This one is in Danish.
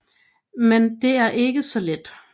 Men det er ikke så let